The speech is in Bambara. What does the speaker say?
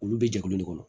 Olu bɛ jɛkulu de kɔnɔ